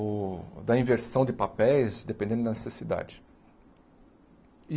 ou da inversão de papéis, dependendo da necessidade.